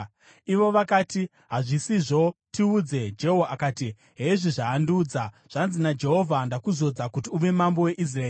Ivo vakati, “Hazvisizvo! Tiudze.” Jehu akati, “Hezvi zvaandiudza: ‘Zvanzi naJehovha: Ndakuzodza kuti uve mambo weIsraeri.’ ”